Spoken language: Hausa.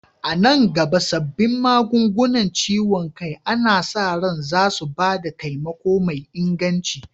A nan gaba, sabbin magungunan ciwon kai ana sa ran zasu ba da taimako mai inganci.